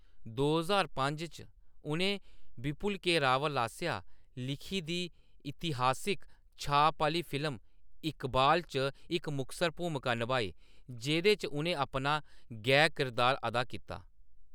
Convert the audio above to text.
दो ज्हार पंज च, उʼनें विपुल के . रावल आसेआ लिखी दी इतिहासक छाप आह्‌‌‌ली फिल्म इकबाल च इक मुखसर भूमका नभाई, जेह्‌‌‌दे च उʼनें अपना गै किरदार अदा कीता।